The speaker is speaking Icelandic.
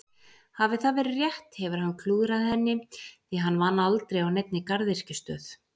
Hafi það verið rétt hefur hann klúðrað henni því hann vann aldrei á neinni garðyrkjustöð.